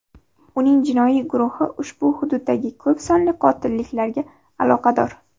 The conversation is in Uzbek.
Uning jinoiy guruhi ushbu hududdagi ko‘p sonli qotilliklarga aloqador.